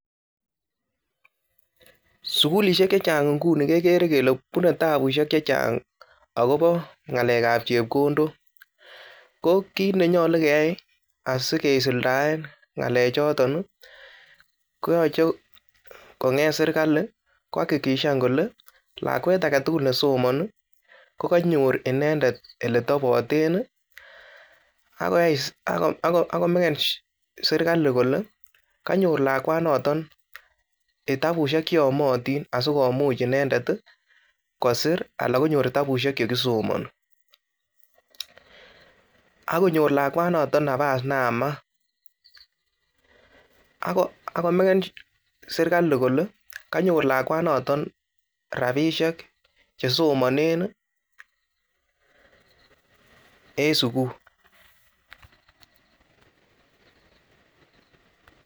Sukulisiek che chang inguni kekere kele bunei tabusiek che chang akobo ngalekab chepkondok, ko kiit ne nyalu keai asikisuldaen ngalechoton ii, koyoche konget serikali ko hakikishan kole lakwet ake tugul ne somoni, ko kanyor inendet oletoboten ii, ako maken serikali kole kanyor lakwanoton kitabusiek che yomotin asikomuch inendet ii, kosir ala konyor kitabusiek che kisomoni, akonyor lakwanaton nabas ne yamat, ako maken serikali kole kanyor lakwanaton rabiisiek che somanen ii en sukul.